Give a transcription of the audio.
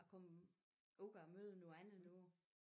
At komme ud og møder noget andet nu